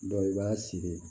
Dɔw i b'a siri